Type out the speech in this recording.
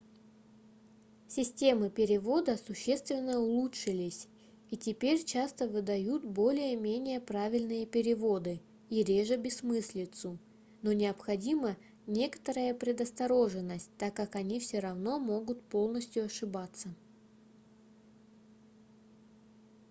системы перевода существенно улучшились и теперь часто выдают более-менее правильные переводы и реже бессмыслицу но необходима некоторая предосторожность так как они все равно могут полностью ошибаться